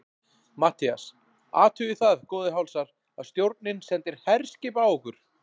MATTHÍAS: Athugið það, góðir hálsar, að stjórnin sendir herskip á okkur!